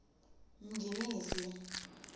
minginisi